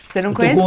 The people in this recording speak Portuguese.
Você não